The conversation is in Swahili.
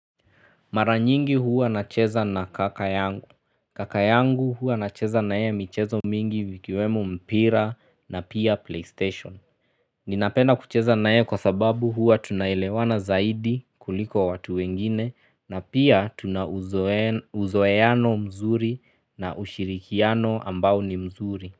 Mara nyingi huwa nacheza na kaka yangu. Kaka yangu huwa nacheza na yeye michezo mingi ikiwemo mpira na pia playstation. Ninapena kucheza na yeye kwa sababu huwa tunaelewana zaidi kuliko watu wengine na pia tuna uzoeano mzuri na ushirikiano ambao ni mzuri.